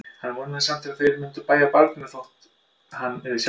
Hann vonaðist samt til að þeir myndu vægja barninu þótt hann yrði sjálfur veginn.